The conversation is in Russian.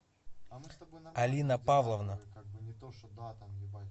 алина павловна